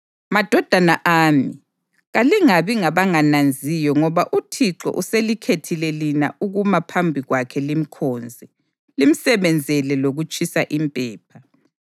Madodana ami, kalingabi ngabangananziyo ngoba uThixo uselikhethile lina ukuma phambi kwakhe limkhonze, limsebenzele lokutshisa impepha.”